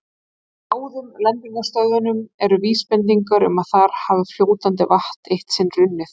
Á báðum lendingarstöðunum eru vísbendingar um að þar hafi fljótandi vatn eitt sinn runnið.